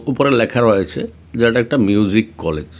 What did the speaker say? উপরে লেখা রয়েছে যে এটা একটা মিউজিক কলেজ .